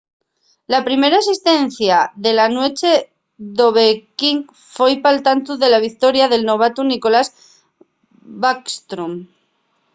la primera asistencia de la nueche d'ovechkin foi pal tantu de la victoria del novatu nicklas backstrom